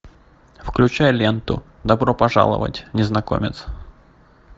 включай ленту добро пожаловать незнакомец